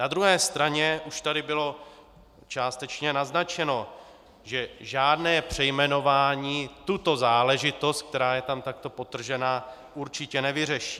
Na druhé straně už tady bylo částečně naznačeno, že žádné přejmenování tuto záležitost, která je tam takto podtržena, určitě nevyřeší.